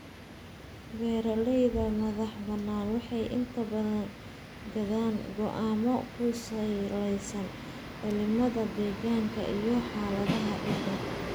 Beeralayda madaxbannaan waxay inta badan gaadhaan go'aanno ku salaysan cimilada deegaanka iyo xaaladaha ciidda.